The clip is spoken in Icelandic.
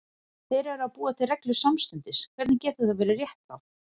Þeir eru að búa til reglur samstundis, hvernig getur það verið réttlátt?